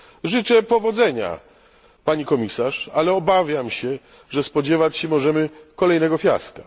Życzę powodzenia pani komisarz, ale obawiam się, że spodziewać się możemy kolejnego fiaska.